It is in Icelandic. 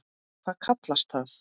Hvað kallast það?